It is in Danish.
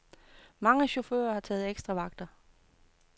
Mange chaffører har taget ekstravagter.